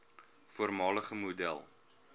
voormalige model